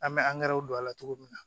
An bɛ angɛrɛ don a la cogo min na